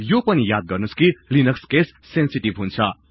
यो पनि याद गर्नुहोस् कि लिनक्स केस सेन्सेटिभ हुन्छ